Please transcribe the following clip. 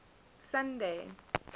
sunday